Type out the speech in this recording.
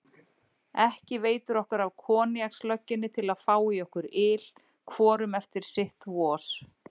Ekki veitir okkur af koníakslögginni til að fá í okkur yl, hvorum eftir sitt vos.